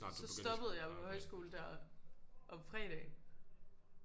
Så stoppede jeg jo på højskole der om fredagen